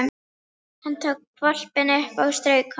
Hann tók hvolpinn upp og strauk honum.